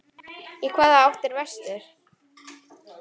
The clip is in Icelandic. Í hvaða átt er vestur?